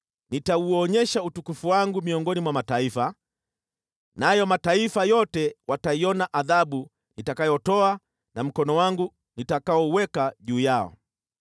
“Nitauonyesha utukufu wangu miongoni mwa mataifa, nayo mataifa yote wataiona adhabu nitakayotoa na mkono wangu nitakaouweka juu yao.